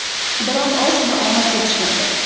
Biroq ozgina omad yetishmaydi.